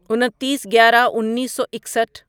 انتیس گیارہ انیسو اکسٹھ